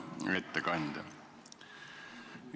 Hea ettekandja!